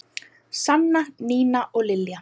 Sanna, Nína og Lilja.